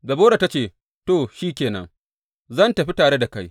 Debora ta ce, To, shi ke nan, zan tafi tare da kai.